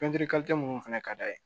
minnu fana ka d'a ye